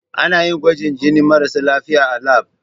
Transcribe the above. Ana yin gwajin jinin marasa lafiya a lab.